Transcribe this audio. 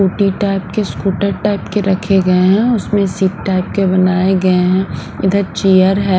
Scooty type के scooter type के रखे गए हैं उसमें सीट टाइप के बनाए गए हैं इधर चियर है।